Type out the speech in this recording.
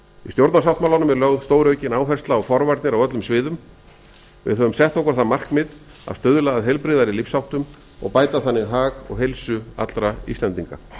stjórnarsáttmálanum er lögð stóraukin áhersla á forvarnir á öllum auðum við á dóms best okkur það markmið að stuðla að heilbrigðari lífsháttum og bæta þannig hag og heilsu allra íslendinga